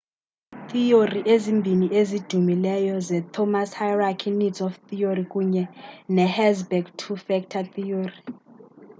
iithiyori ezimbini ezidumileyo zii-themous's hierarchy of needs theory kunye ne-herzberg's two factor theory